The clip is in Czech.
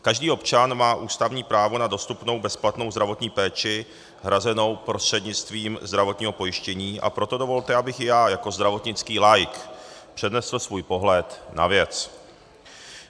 Každý občan má ústavní právo na dostupnou bezplatnou zdravotní péči hrazenou prostřednictvím zdravotního pojištění, a proto dovolte, abych i já jako zdravotnický laik přednesl svůj pohled na věc.